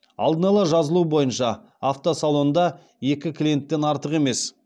алдын ала жазылу бойынша автосалонда екі клиенттен артық емес